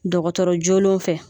Dɔgɔtɔrɔ joolenw fɛ